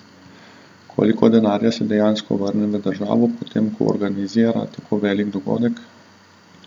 Koliko denarja se dejansko vrne v državo, potem ko organizira tako velik dogodek?